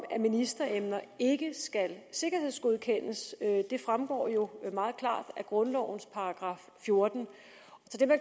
at ministeremner ikke skal sikkerhedsgodkendes det fremgår jo meget klart af grundlovens § fjortende